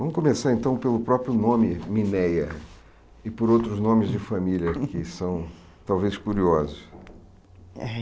Vamos começar, então, pelo próprio nome Mineia e por outros nomes de família que são talvez curiosos.